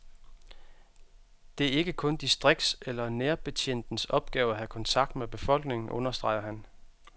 Det er ikke kun distrikts- eller nærbetjentens opgave at have nærkontakt med befolkningen, understreger han.